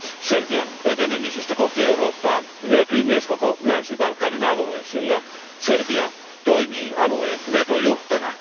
Serbian etenemisestä kohti Eurooppaa hyötyy myös koko Länsi Balkanin alue, sillä Serbia toimii alueen vetojuhtana.